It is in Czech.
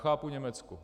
Chápu Německo.